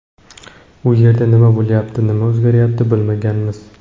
U yerda nima bo‘lyapti, nima o‘zgaryapti bilmaganmiz.